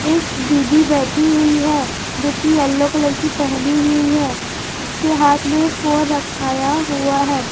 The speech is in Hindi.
एक दीदी बैठी हुई है जो कि येलो कलर की पहनी हुई है उसके हाथ में फोन रखाया हुआ है।